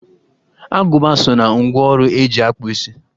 Agụba so na ngwá ọrụ e ji akpụ isi